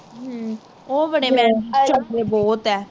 ਹਮ ਉਹ ਬੜੇ mam ਚੰਗੇ ਬਹੁਤ ਹੈ